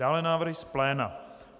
Dále návrhy z pléna.